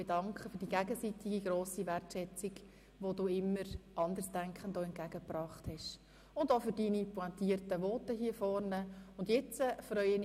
Dafür, für die gegenseitige grosse Wertschätzung, die Sie auch immer Andersdenkenden entgegengebracht haben, möchte ich mich bei Ihnen bedanken.